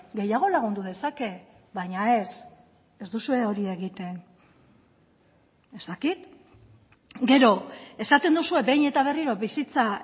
gehiago lagundu dezake baina ez ez duzue hori egiten ez dakit gero esaten duzue behin eta berriro bizitza